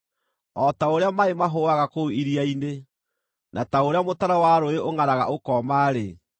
O ta ũrĩa maaĩ mahũũaga kũu iria-inĩ, na ta ũrĩa mũtaro wa rũũĩ ũngʼaraga ũkooma-rĩ,